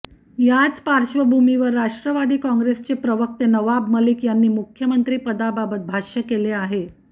याच पार्श्वभूमीवर राष्ट्रवादी काँग्रेसचे प्रवक्ते नवाब मलिक यांनी मुख्यमंत्री पदाबाबत भाष्य केलं आहे